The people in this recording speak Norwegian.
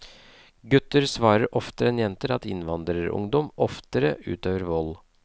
Gutter svarer oftere enn jenter at innvandrerungdom oftere utøver vold.